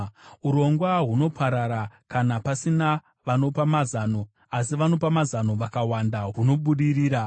Urongwa hunoparara kana pasina vanopa mazano, asi vanopa mazano vakawanda hunobudirira.